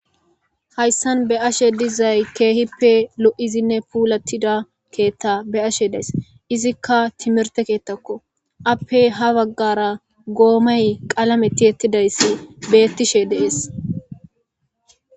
Hayssan be'aishe dizzay kehipe loo'izinne pullatida ketta be'ashe dayisi izikka timirte kettako appe ha baggara gommayi qalamme tiyetiday bettishe de'esi.